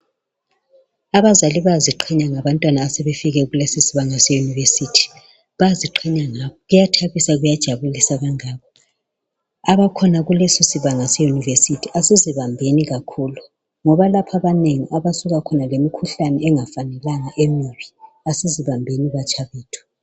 Abazali bayaziqhenya ngabantwana asebefike kulezi sibanga se yunivesithi bayaziqhenya ngabo kuyathabisa kuyajabilisa kangako abakhona kulesosi banga seyunivesithi asizibambeni kakhulu ngoba lapho abanengi abasuka lemikhuhlane engafanelanga emibi easizibambeni batsha bethu .